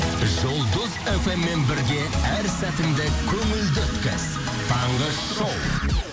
жұлдыз фм мен бірге әр сәтіңді көңілді өткіз таңғы шоу